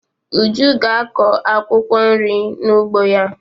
Uju ga-akọ akwụkwọ nri n'ugbo ya.